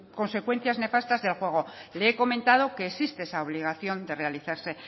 consecuencias nefastas del juego le he comentado que existe esa obligación de realizarse